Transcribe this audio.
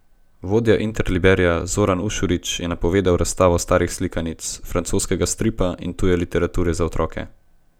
Vodja Interliberja Zoran Ušurić je napovedal razstavo starih slikanic, francoskega stripa in tuje literature za otroke.